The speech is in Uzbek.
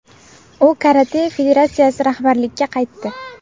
U Karate federatsiyasi rahbarligiga qaytdi.